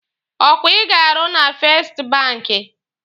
Ọkwa ị ga-arụ na fest banki?